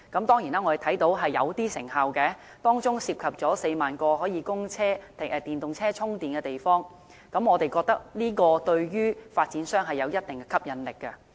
當然我們看到是頗有成效的，當中涉及4萬個可供電動車充電的車位，我們認為這對於發展商有一定吸引力。